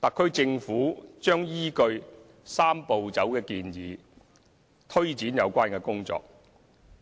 特區政府將依據"三步走"建議推展有關工作，